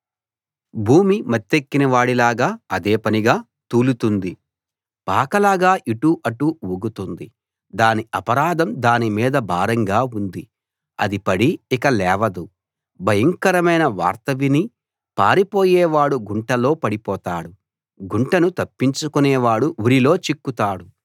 భూమి మత్తెక్కిన వాడిలాగా అదే పనిగా తూలుతోంది పాకలాగా ఇటు అటు ఊగుతోంది దాని అపరాధం దాని మీద భారంగా ఉంది అది పడి ఇక లేవదు భయంకరమైన వార్త విని పారిపోయే వాడు గుంటలో పడిపోతాడు గుంటను తప్పించుకునేవాడు ఉరిలో చిక్కుతాడు